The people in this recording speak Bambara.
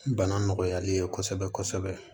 Bana nɔgɔyali ye kosɛbɛ kosɛbɛ